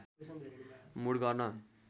mood गर्न